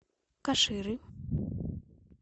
каширы